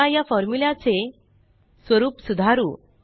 चला या फॉर्मूल्याचे स्वरुप सुधारू